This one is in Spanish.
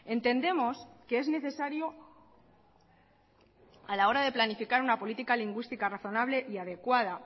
entendemos que es necesario a la hora de planificar una política lingüística razonable y adecuada